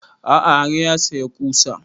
A'a har ya saya ƙusa